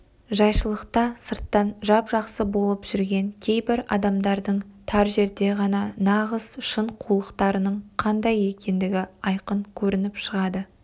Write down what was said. жайшылықта сырттан жап-жақсы болып жүрген кейбір адамдардың тар жерде ғана нағыз шын қулықтарының қандай екендігі айқын көрініп шығады